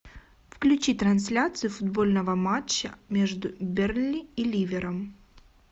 включи трансляцию футбольного матча между бернли и ливером